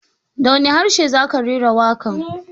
Da wani harshe za ka rera waƙar?